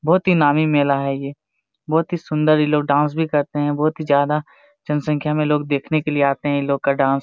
भोत ही नामी मेला है ये बहुत ही सुंदर ई लोग डांस भी करते है बहुत ही ज्यादा जनसँख्या लोग देखने के लिए इन लोग का डांस ।